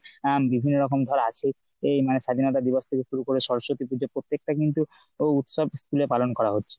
আহ বিভিন্ন রকম তো আর আছেই মানে স্বাধীনতা দিবস থেকে শুরু করে সরস্বতী পুজো প্রত্যেক টা কিন্তু ওই উৎসব school এ পালন করা হচ্ছে।